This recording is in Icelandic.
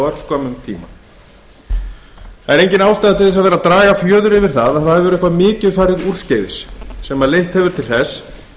örskömmum tíma það er engin ástæða til að draga fjöður yfir það að eitthvað mikið hefur farið úrskeiðis sem leitt hefur til þess